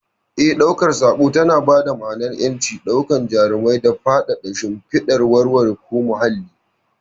Eh, ɗaukar sako tana ba dama'anar ƴanci, daukar jarumai da faffadar shimfidar wurare ko muhalli.